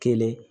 Kelen